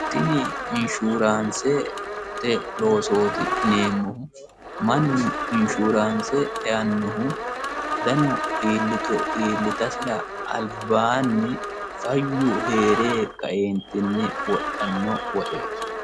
tini inshuuraansete loosoti yineemmohu mannu inshuraanse eannohu dano iillitu iillitasira albaaanni fayyu herre jaeentinni wodhanno woxeeti